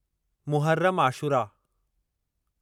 Muharram Ashura